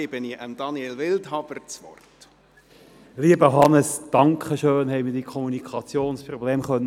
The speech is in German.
Lieber Hannes Zaugg, vielen Dank, dass wir das Kommunikationsproblem lösen konnten.